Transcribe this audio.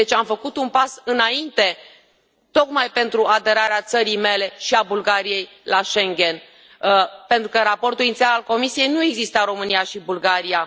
Deci, am făcut un pas înainte, tocmai pentru aderarea țării mele și a Bulgariei la Schengen, pentru că în raportul inițial al Comisiei nu existau România și Bulgaria.